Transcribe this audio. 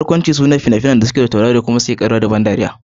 Barkwanci fina-finan da suke tauraro ko kuma su kare da dariya da bakin ciki.